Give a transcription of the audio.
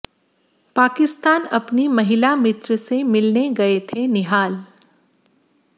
पाकिस्तान अपनी महिला मित्र से मिलने गए थे निहाल